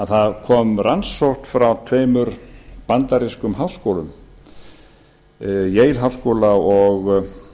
það kom rannsókn frá tveimur bandarískum háskólum yale háskóla og